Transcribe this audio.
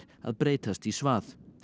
að breytast í svað